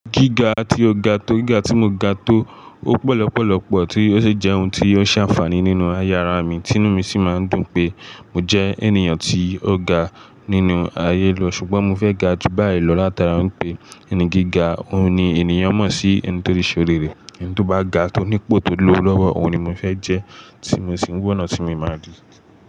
Gíga tí ó ga tó gíga tí mo ga tó ó pọ̀lọ́pọ̀lọ́pọ̀ tí ó sì jẹ́ ohun tí ó ṣe àǹfààní nínú aye ara mi, tìnú mi sì máa ń dùn pé mo jẹ́ ènìyàn tí ó ga nínú ayé lọ, ṣùgbọ́n mo fẹ́ ga jù báyìí lọ látara pé ẹni gíga, òun ni ènìyàn mọ̀ sí i ẹni tó le ṣòri rẹ̀. Ẹni tó bá ga tó nípò tó lọ́wọ́, òun ni mo fẹ́ jẹ́ tí mo sì ń wa ọ̀nà tí mo máa lọ.